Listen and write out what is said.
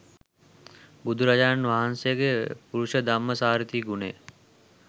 බුදුරජාණන් වහන්සේගේ පුරුෂධම්මසාරථි ගුණය